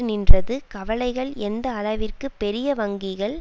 நின்றது கவலைகள் எந்த அளவிற்கு பெரிய வங்கிகள்